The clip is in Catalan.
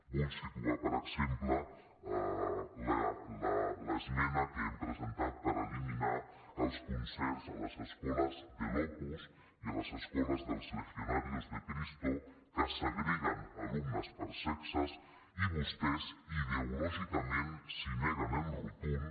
vull situar per exemple l’esmena que hem presentat per eliminar els concerts a les escoles de l’opus i a les escoles dels legionarios de cristo que segreguen alumnes per sexes i vostès ideològicament s’hi neguen en rotund